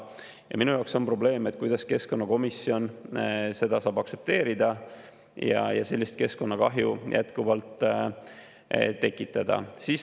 Ja minu jaoks on probleem, kuidas keskkonnakomisjon seda saab aktsepteerida ja sellist keskkonnakahju jätkuvalt tekitada.